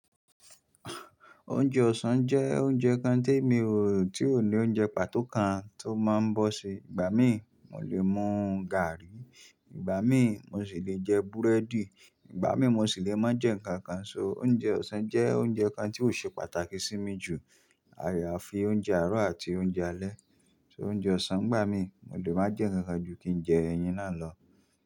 Oúnjẹ ọ̀sán jẹ́ oúnjẹ kan tí mi o, tí ò ní oúnjẹ pàtó kan tó máa ń bọ́ se. Ìgbà mí, mo lè mú gààrí, ìgbà mí mo sì le jẹ búrẹ́dì, ìgbà mí mo sì le máa jẹ nǹkan kan. So oúnjẹ ọ̀sán jẹ́ oúnjẹ kan tí ó ṣe pàtàkì sí mi jù àyè àfi oúnjẹ àárọ̀ àti oúnjẹ alẹ́. So oúnjẹ ọ̀sán ìgbà mí, mo lè máa jẹ nǹkan ju kí n jẹ ẹyin náà lọ.